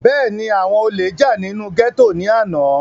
bẹ́ẹ̀ni, àwọn olè jà nínú gẹ́tò ní àná